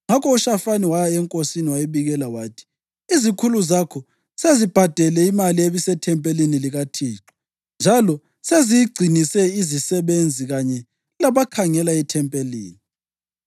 Ngakho uShafani waya enkosini, wayibikela wathi, “Izikhulu zakho sezibhadele imali ebisethempelini likaThixo njalo seziyigcinise izisebenzi kanye labakhangela ethempelini.”